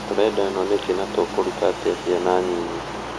tũrenda ĩno nïkĩĩ na tũkũruta atĩa viana nyinyi?